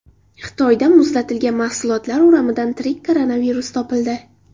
Xitoyda muzlatilgan mahsulotlar o‘ramidan tirik koronavirus topildi.